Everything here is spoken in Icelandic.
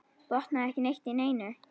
Botnaði ekki neitt í neinu.